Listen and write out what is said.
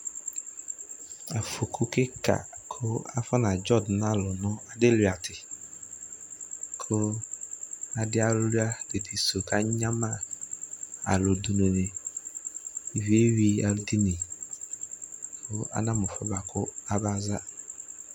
aƒɔkʋ kika kʋ aƒɔna dzɔ dʋnʋ alʋ nʋ adi wlia ti kʋ adi awlia didi sʋ kʋ anyama alʋ dʋnʋ ni iviɛ ɛwi alʋ dini kʋ ana mʋ ɛƒʋɛ bʋakʋ aba za